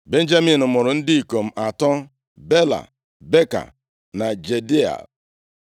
Benjamin mụrụ ndị ikom atọ: Bela, Beka na Jediael,